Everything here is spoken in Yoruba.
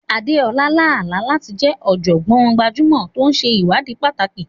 Adeola lá àlá láti jẹ́ ọ̀jọ̀gbọ́n gbajúmọ̀ tó ń ṣe ìwádìí pàtàkì.